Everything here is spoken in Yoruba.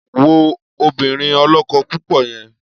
Wo obìnrin ọlọ́kọ-púpọ̀ yẹn!